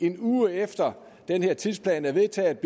en uge efter at den her tidsplan er vedtaget